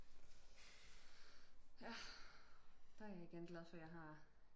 ja der er jeg igen glad for jeg har